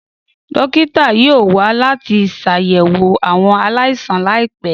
Dókítà yoo wa lati ṣayẹwo awọn alaisan laipẹ.